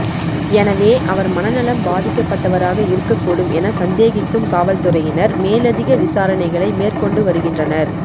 எனவே அவர் மனநலம் பாதிக்கப்பட்டவராக இருக்கக்கூடும் என சந்தேகிக்கும் காவல்துறையினர் மேலதிக விசாரணைகளை மேற்கொண்டு வருகினறனர்